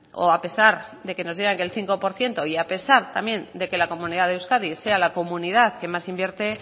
o a pesar de que nos digan que el cinco por ciento y a pesar también de que la comunidad de euskadi sea la comunidad que más invierte